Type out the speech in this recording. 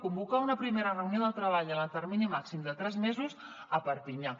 convocar una primera reunió de treball en el termini màxim de tres mesos a perpinyà